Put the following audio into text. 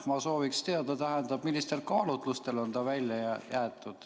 Ma sooviks teada, tähendab, millistel kaalutlustel see on välja jäetud.